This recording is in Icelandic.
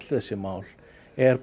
þessi mál er